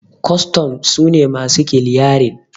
kwastan su ne masu kiliyarin